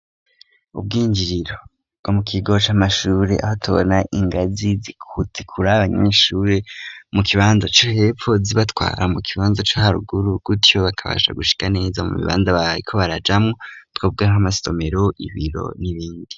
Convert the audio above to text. Ubwinjiriro bgo mu kigoca amashure aho tubona ingazi zikutikuri abanyeshure mu kibanza co hepfo zibatwara mu kibanza c'aharuguru gutyo bakabasha gushika neza mu bibanza baye ko barajamwo twobwe nk'amasomero ibiro n'ibindi.